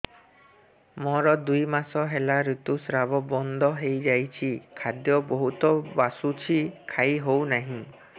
ମୋର ଦୁଇ ମାସ ହେଲା ଋତୁ ସ୍ରାବ ବନ୍ଦ ହେଇଯାଇଛି ଖାଦ୍ୟ ବହୁତ ବାସୁଛି ଖାଇ ହଉ ନାହିଁ